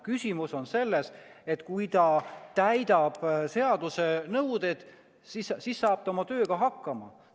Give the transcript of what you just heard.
Küsimus on selles, et kui ta täidab seaduse nõudeid, siis saab ta oma tööga hakkama.